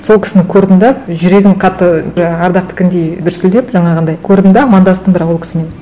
сол кісіні көрдім де жүрегім қатты ардақтікіндей дүрсілдеп жаңағындай көрдім де амандастым бірақ ол кісімен